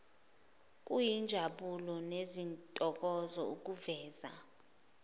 kuyinjabulo nentokozo ukuveza